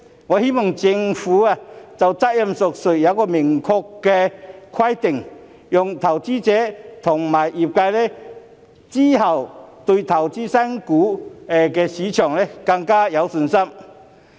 我希望政府能就責任問題訂立明確規定，好讓投資者和業界日後對投資新股更有信心。